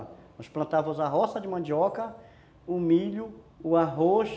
Nós plantávamos a roça de mandioca, o milho, o arroz,